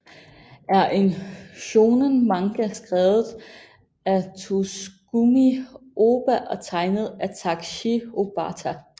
er en shōnen manga skrevet af Tsugumi Ohba og tegnet af Takeshi Obata